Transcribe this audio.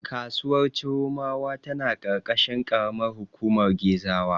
Kasuwar Chiromawa tana ƙarƙashin ƙaramar hukumar Gezawa.